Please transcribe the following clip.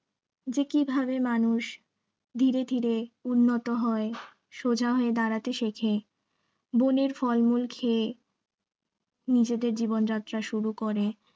যে কিভাবে মানুষ ধীরে ধীরে উন্নত হয় সোজা হয়ে দাঁড়াতে শেখে বনের ফলমূল খেয়ে নিজেদের জীবন যাত্রা শুরু করে